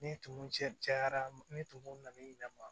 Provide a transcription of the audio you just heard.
Ni tumu cɛ cayara ni tumuw nana i yɛrɛ ma